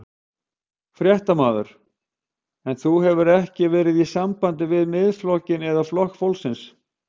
Fréttamaður: En þú hefur ekki verið í sambandi við Miðflokkinn eða Flokk fólksins?